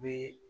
Bi